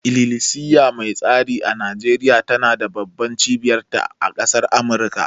Ililisiya mai tsari a Nijeriya tana da babban cibiyar ta a ƙasar Amurka